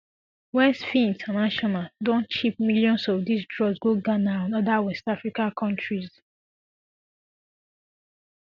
westfin international don ship millions of dis drugs go ghana and oda west african kontris